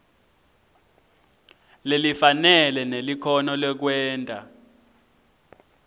lelifanele nelikhono lekwenta